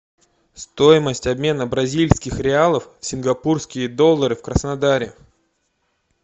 стоимость обмена бразильских реалов в сингапурские доллары в краснодаре